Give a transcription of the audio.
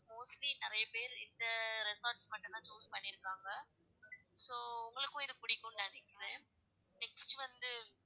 Mostly நெறைய பேரு இந்த resort டுக்கு மட்டும் தான் book பண்ணிருக்காங்க. So உங்களுக்கும் இது புடிக்கும்ன்னு நினைக்கிறன் next வந்து,